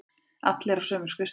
Allir á sömu skrifstofu.